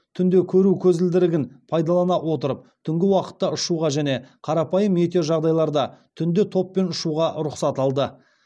түнде көру көзілдірігін пайдалана отырып түнгі уақытта ұшуға және қарапайым метеожағдайларда түнде топпен ұшуға рұқсат алды